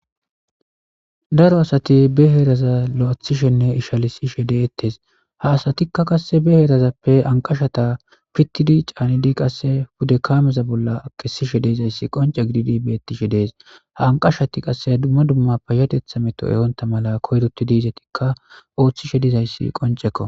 Daro asati be heeraza loythishenne ishalisishe de'etes ha asatika qase ne heerazappe anqashati pitidi geshidi qase pude kaameza bolla kesishe de'izays qonce gididi beetishe dees. Ha anqashati qaseka duma duma payatetha me to ehonta mala izetika koyrotidi oothishe dizaysi qonceko.